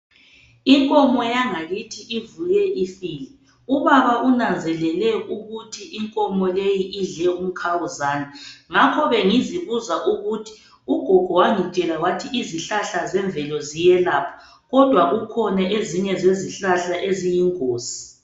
Inkomo yangakithi ivuke ifile ubaba unanzelele ukuthi inkomo leyi idle umkhawuzane. Ngakho bengizibuza ukuthi ugogo wangitshela wathi izihlahla zemvelo ziyelapha kodwa zikhona ezinye izihlahla eziyingozi.